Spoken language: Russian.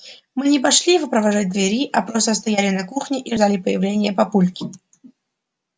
мы не пошли его провожать к двери а просто стояли на кухне и ждали появления папульки